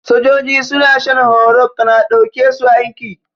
Sojoji suna shan horo kan a ɗauke su aiki